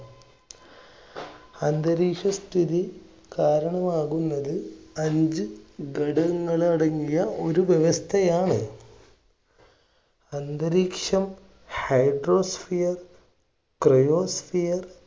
അന്തരീക്ഷസ്ഥിതി കാരണമാകുന്നത് അഞ്ച്‌ ഘടകങ്ങൾ അടങ്ങിയ ഒരു വ്യവസ്ഥയാണ്. അന്തരീക്ഷം hydrosphere, cryosphere